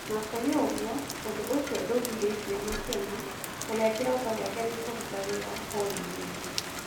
Ona kurĩ ũguo, ũndũ ũcio ndũgirĩtie Makena , ũria kiroto giakĩ nĩ kũrũta wira Horĩwundi